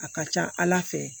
A ka ca ala fɛ